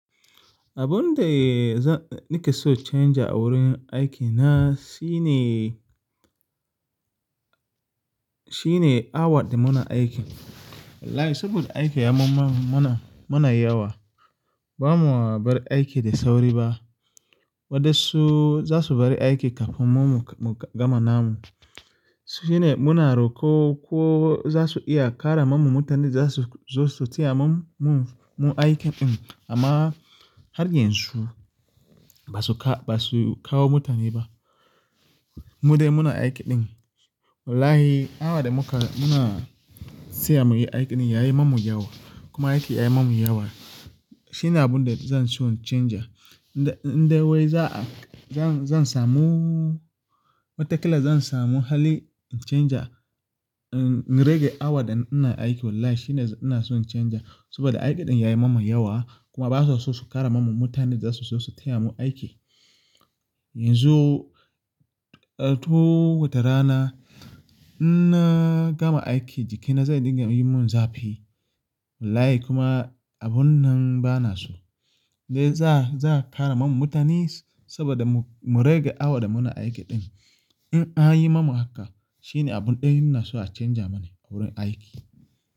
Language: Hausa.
Abunde nake so cenja a wurin aikina shine, shine awa da muna aikin. Wallahi saboda aiki ya yi mana, yawa. Ba mu bar aiki da sauri ba. Waɗansu za su bari aiki kafin mu gama namu. Shine muna roƙo ko za su iya ƙara ma mu mutane da za su taya mu aikin. Amma har yanzu ba su kawo mutane ba. Mu dai muna aikin ɗin. Wallahi awa da muka, muna tsaya muyi aikin ɗin yayi mamu yawa. Kuma aiki yayi mamu yawa. Shine abun da zan so in chanza. Indai wai za a, zan samu, watakila zan samu hali in chanza, in rage awa da ina aiki. Wallahi shine ina so in chanza. Saboda aikin ɗin yayi mamu yawa. Kuma ba su so su ƙara ma mu mutane da za su taya mu aiki. Yanzu, to wata rana in na gama aiki jikina zai dinga yi mun zafi. Wallahi kuma abun nan ba na so. Dai za, za a ƙara ma mu mutane saboda mu rage awa da muna aikin ɗin. In an yi mamu haka shine abin ɗaya ina so a chanza mana a wurin aiki.